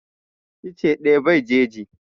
Icce ɗaya bai jeji